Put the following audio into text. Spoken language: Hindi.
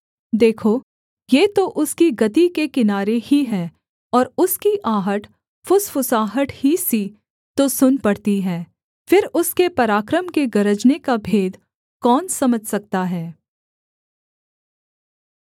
देखो ये तो उसकी गति के किनारे ही हैं और उसकी आहट फुसफुसाहट ही सी तो सुन पड़ती है फिर उसके पराक्रम के गरजने का भेद कौन समझ सकता है